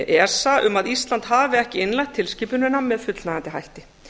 esa um að ísland hafi ekki innleitt tilskipunina með fullnægjandi hætti